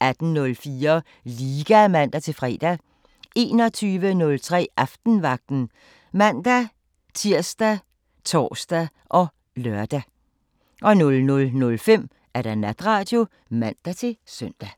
18:04: Liga (man-fre) 21:03: Aftenvagten ( man-tir, tor, lør) 00:05: Natradio (man-søn)